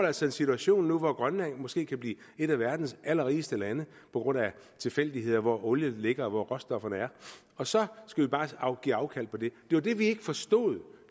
altså en situation nu hvor grønland måske kan blive et af verdens allerrigeste lande på grund af tilfældigheder såsom hvor olien ligger og hvor råstofferne er og så skal vi bare give afkald på det det var det vi ikke forstod